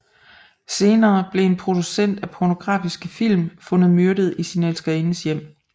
Senere bliver en producent af pornografiske film fundet myrdet i sin elskerindes hjem